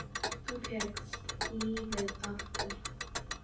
Þú fékkst lífið aftur.